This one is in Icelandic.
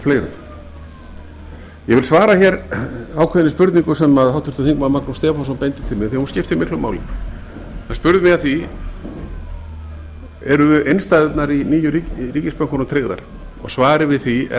fleirum ég vil svara hér ákveðinni spurningu sem háttvirtur þingmaður magnús stefánsson beindi til mín því að hún skiptir miklu áli hann spurði að því eru innstæðurnar í nýju ríkisbönkunum tryggðar svarið við því er